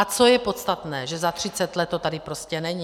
A co je podstatné, že za 30 let to tady prostě není.